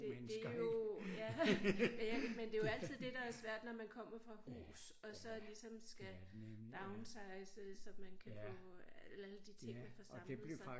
Det det jo ja men jeg men det jo altid det der er svært når man kommer fra hus og så ligesom skal downsize så man kan få alle de ting man får samlet sig